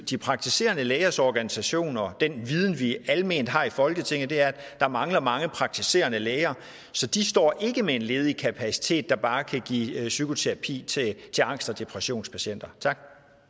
de praktiserende lægers organisationer og den viden vi alment har i folketinget at der mangler mange praktiserende læger så de står ikke med en ledig kapacitet der bare kan give psykoterapi til til angst og depressionspatienter tak